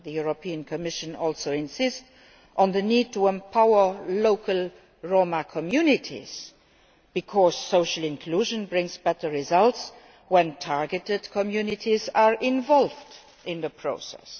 The Commission also insists on the need to empower local Roma communities, because social inclusion brings better results when targeted communities are involved in the process.